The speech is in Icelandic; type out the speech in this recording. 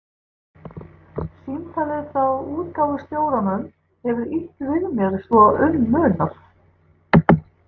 Símtalið frá útgáfustjóranum hefur ýtt við mér svo um munar.